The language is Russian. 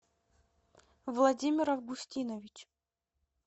владимир августинович